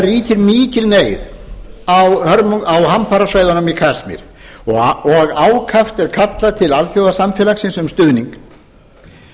ríkir mikil neyð á hamfarasvæðunum í kasmír og ákaft er kallað til alþjóðasamfélagsins um stuðning